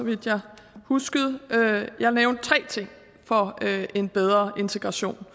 vidt jeg husker jeg nævnte tre ting for en bedre integration